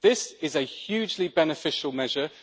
This is a hugely beneficial measure.